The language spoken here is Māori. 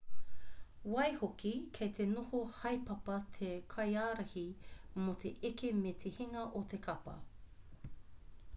waihoki kei te noho haepapa te kaiārahi mō te eke me te hinga o te kapa